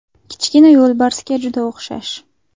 Kichkina yo‘lbarsga juda o‘xshash.